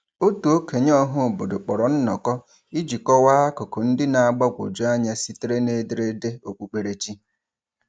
Otu okenye ọhaobodo kpọrọ nnọkọ iji kọwa akụkụ ndị na-agbagwoju anya sitere n’ederede okpukperechi.